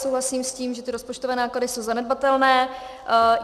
Souhlasím s tím, že ty rozpočtové náklady jsou zanedbatelné.